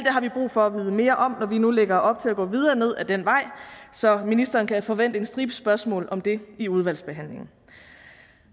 har vi brug for at vide mere om når vi nu lægger op til at gå videre ned ad den vej så ministeren kan forvente en stribe spørgsmål om det i udvalgsbehandlingen